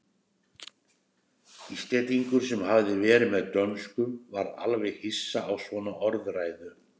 Íslendingur sem hafði verið með dönskum varð alveg hissa á svona orðræðu.